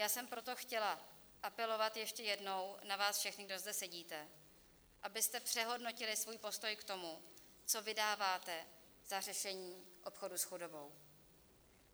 Já jsem proto chtěla apelovat ještě jednou na vás všechny, kdo zde sedíte, abyste přehodnotili svůj postoj k tomu, co vydáváte za řešení obchodu s chudobou.